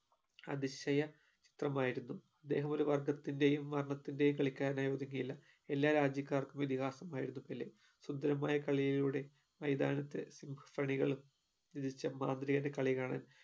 അതിശയ പ്രമായിരുന്നു ഇദ്ദേഹമൊരു വർഗത്തിന്റെയും വർണ്ണത്തിന്റെയും കളിക്കാരനായി ഒതുങ്ങിയില്ല എല്ലാ രാജ്യകാർക്കും ഇതിഹാസമായിരുന്നു പെലെ സുന്ദരമായ കളിയിലൂടെ മൈതാനത്തു symphony കളും രചിച്ച മാന്ത്രികന്റെ കളി കാണാൻ